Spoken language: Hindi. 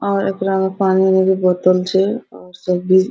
और एकरा में पानी के भी बोतल छै और सब भी --